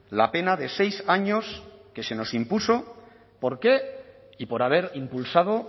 la pena de seis años que se nos impuso por qué y por haber impulsado